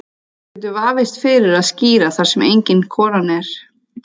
Það getur vafist fyrir að skíra þar sem engin konan er.